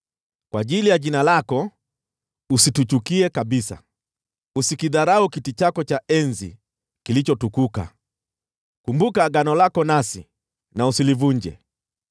Kwa ajili ya jina lako usituchukie kabisa; usikidharau kiti chako cha enzi kilichotukuka. Kumbuka agano lako nasi na usilivunje.